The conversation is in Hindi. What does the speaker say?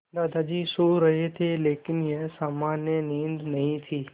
दादाजी सो रहे थे लेकिन यह सामान्य नींद नहीं थी